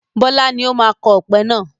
Bọlá ni ó máa kọ ọpẹ náà